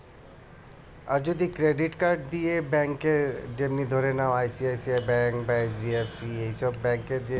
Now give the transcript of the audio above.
আর যদি credit card দিয়ে bank এ যেমনি ধরে নাও ICICI bank বা S. B. R. C. এই সব bank এর যে